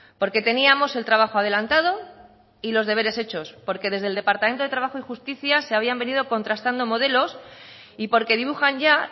porque teníamos el trabajo adelantado y los deberes hechos porque desde el departamento de trabajo y justicia se habían venido contrastando modelos y porque dibujan ya